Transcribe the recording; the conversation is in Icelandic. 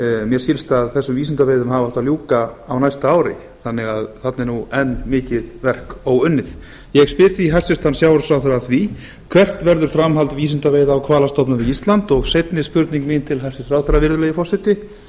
mér skilst að þessum vísindaveiðum hafi átt að ljúka á næsta ári þannig að þarna er mikið verk óunnið ég spyr því hæstvirtur sjávarútvegsráðherra að því hvert verður framhald vísindaveiða á hvalastofnum við ísland og seinni spurning mín til hæstvirts ráðherra virðulegi forseti